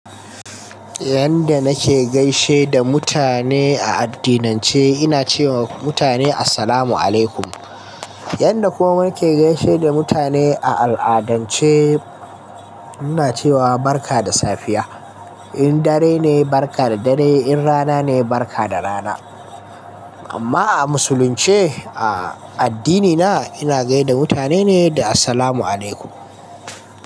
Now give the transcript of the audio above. Yanda nake gaishe da mutane a addinin ce, ina cewa mutane Assalamu alaikum. Yanda kuma nake kuma gaida mutane a al'adance, ina cewa barka da safiya. In dare ne, barka da dare. In rana ne, barka da rana. Amma a musulunce, a addinina, ina gaida mutane ne da Assalamu alaikum.